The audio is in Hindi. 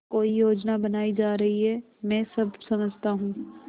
कोई योजना बनाई जा रही है मैं सब समझता हूँ